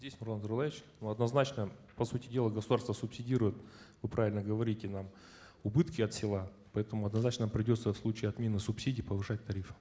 здесь нурлан зайроллаевич однозначно по сути дела государство субсидирует вы правильно говорите нам убытки от села поэтому однозначно придется в случае отмены субсидий повышать тарифы